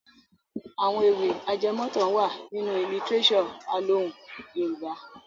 Àwọn ewì ajẹmọ̀tàn wà nínú lítíréṣọ̀ alohùn Yorùbá.